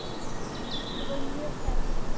Við vorum mjög hrædd.